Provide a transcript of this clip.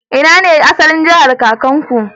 Ina ne asalin jahar kakanku?